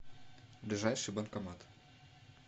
ближайший банкомат